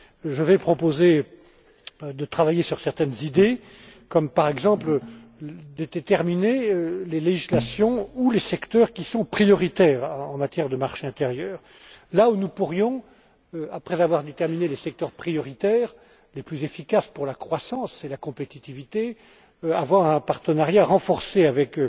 Je vais proposer de travailler sur certaines idées comme, par exemple, le fait de déterminer les législations ou les secteurs qui sont prioritaires en matière de marché intérieur, là où nous pourrions, après avoir déterminé les secteurs prioritaires les plus efficaces pour la croissance et la compétitivité, avoir un partenariat renforcé avec